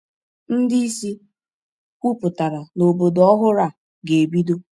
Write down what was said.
Ndị isi kwupụtara na obodo ọhụrụ a ga-ebido.